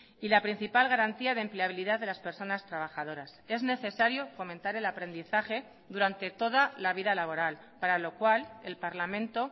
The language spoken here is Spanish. y la principal garantía de empleabilidad de las personas trabajadoras es necesario fomentar el aprendizaje durante toda la vida laboral para lo cual el parlamento